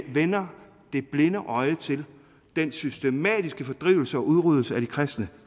vender det blinde øje til den systematiske fordrivelse og udryddelse af de kristne